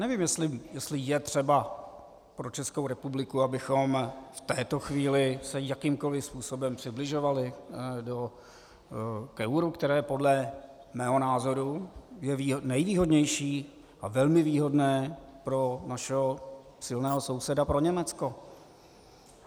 Nevím, jestli je třeba pro Českou republiku, abychom v této chvíli se jakýmkoli způsobem přibližovali k euru, které podle mého názoru je nejvýhodnější a velmi výhodné pro našeho silného souseda, pro Německo.